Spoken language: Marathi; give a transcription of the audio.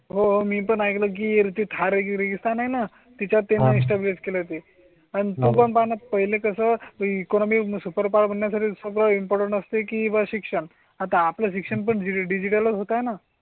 हो मी पण ऐकलं कीर्ती थार गिरिस्थान आहे ना? तिच्या इन्स्टा बी एच के ला ते आणि आपण पाण्यात पहिलं कसं इकॉनॉमी सुपर पाहण्यासाठी सगळं इम्पॉर्टन्ट असते किंवा शिक्षण. आता आपल्या शिक्षण पणजी डिजिटल होताना.